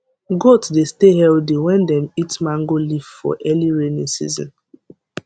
goat dey stay healthy when dem eat mango leaf for early rainy season